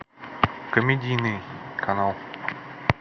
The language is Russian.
комедийный канал